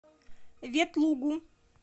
ветлугу